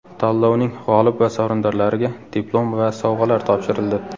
Tanlovning g‘olib va sovrindorlariga diplom va sovg‘alar topshirildi.